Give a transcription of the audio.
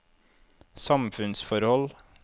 samfunnsforhold